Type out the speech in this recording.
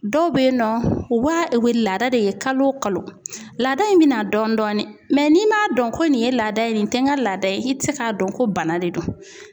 Dɔw bɛ yen nɔ wa u bɛ laada de ye kalo o kalo laada in bɛ na dɔɔnin dɔɔnin n'i m'a dɔn ko nin ye laada ye nin tɛ n ka laada ye i tɛ se k'a dɔn ko bana de don